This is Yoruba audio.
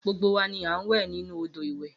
Gbogbo wa ni a ń wẹ̀ nínú odò ìwẹ̀